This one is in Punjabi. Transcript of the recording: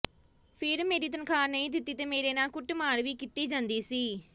ਫਿਰ ਮੇਰੀ ਤਨਖਾਹ ਨਹੀਂ ਦਿੱਤੀ ਤੇ ਮੇਰੇ ਨਾਲ ਕੁੱਟਮਾਰ ਵੀ ਕੀਤੀ ਜਾਂਦੀ ਸੀ